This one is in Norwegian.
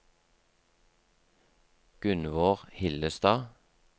Gunnvor Hillestad